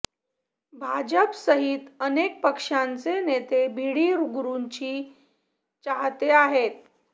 भाजपसहीत अनेक पक्षांचे नेते भिडी गुरूंची चाहते आहेत